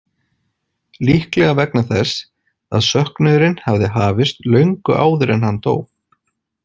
Líklega vegna þess að söknuðurinn hafði hafist löngu áður en hann dó.